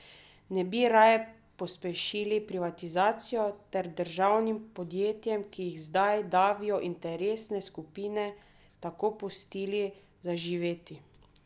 Ne bi raje pospešili privatizacijo ter državnim podjetjem, ki jih zdaj davijo interesne skupine, tako pustili zaživeti?